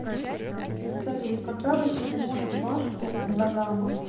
салют когда возник мост вашку да гама